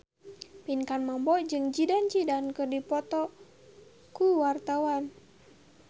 Pinkan Mambo jeung Zidane Zidane keur dipoto ku wartawan